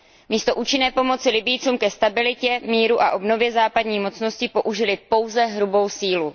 Místo účinné pomoci Libyjcům ke stabilitě, k míru a obnově západní mocnosti použily pouze hrubou sílu.